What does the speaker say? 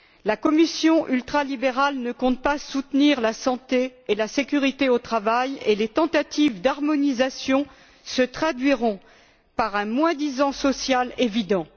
La Commission ultralibérale ne compte pas soutenir la santé et la sécurité au travail, et les tentatives d'harmonisation se traduiront par un moins disant social évident.